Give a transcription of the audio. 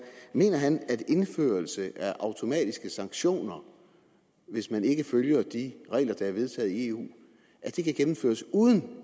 mener han at indførelse af automatiske sanktioner hvis man ikke følger de regler der er vedtaget i eu kan gennemføres uden